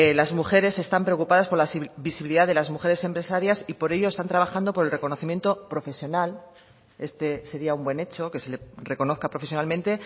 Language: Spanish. las mujeres están preocupadas por la visibilidad de las mujeres empresarias y por ello están trabajando por el reconocimiento profesional este sería un buen hecho que se le reconozca profesionalmente